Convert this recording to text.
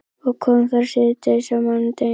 Og kom þar síðdegis á mánudeginum.